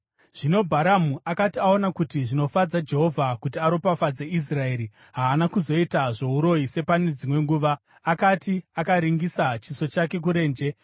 Zvino Bharamu akati aona kuti zvinofadza Jehovha kuti aropafadze Israeri, haana kuzoita zvouroyi sepane dzimwe nguva, asi akaringisa chiso chake kurenje.